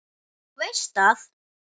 Þú veist að.